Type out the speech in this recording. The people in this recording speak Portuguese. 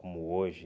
Como hoje.